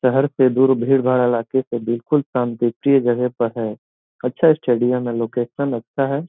शहर से दूर भीड़ भाड़ इलाके से बिल्कुल शांतिप्रिय जगह पे है अच्छा स्टेडियम है लोकेशन अच्छा है।